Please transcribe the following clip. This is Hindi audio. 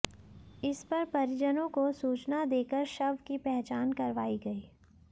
इस पर परिजनों को सूचना देकर शव की पहचान करवाई गई